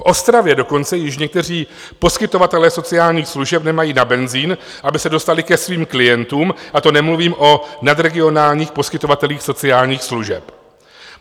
V Ostravě dokonce již někteří poskytovatelé sociálních služeb nemají na benzin, aby se dostali ke svým klientům, a to nemluvím o nadregionálních poskytovatelích sociálních služeb.